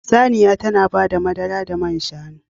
Saniya tana bada madara da man shanu.